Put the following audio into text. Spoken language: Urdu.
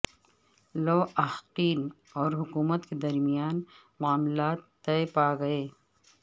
لواحقین اور حکومت کے درمیان معاملات طے پا گئے